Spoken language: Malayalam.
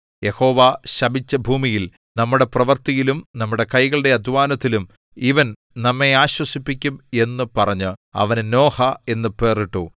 യഹോവ ശപിച്ച ഭൂമിയിൽ നമ്മുടെ പ്രവൃത്തിയിലും നമ്മുടെ കൈകളുടെ അദ്ധ്വാനത്തിലും ഇവൻ നമ്മെ ആശ്വസിപ്പിക്കും എന്നു പറഞ്ഞ് അവന് നോഹ എന്നു പേർ ഇട്ടു